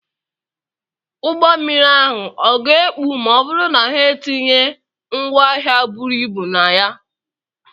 Ụgbọ mmiri ahụ ọ̀ ga-ekpu ma ọ bụrụ na ha etinye ngwaahịa buru ibu na ya?